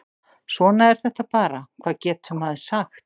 Svona er þetta bara, hvað getur maður sagt?